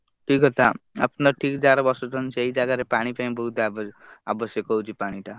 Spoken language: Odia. ସେଇ କଥା ଆପଣ ଠିକ୍ ଜାଗା ରେ ବସୁଛନ୍ତି ସେଇ ଜାଗା ରେ ପାଣି ପାଇଁ ବହୁତ୍ ଆବ~ ଆବଶ୍ୟକ ହେଉଛି ପାଣି ଟା।